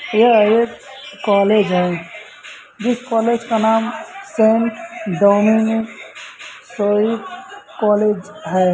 यह एक कॉलेज है जिस कॉलेज का नाम सैंट डोमनिक सोविक कॉलेज है।